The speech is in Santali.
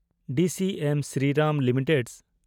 DCM Shriram limited